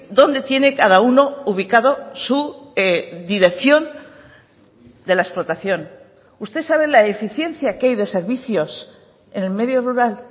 dónde tiene cada uno ubicado su dirección de la explotación usted sabe la eficiencia que hay de servicios en el medio rural